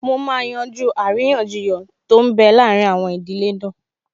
Mo máa yanjú àríyànjiyàn tó n bẹ láàrin àwọn ìdílé náà